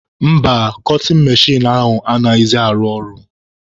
Mba, kọtin mechin ahụ anaghịzị arụ ọrụ.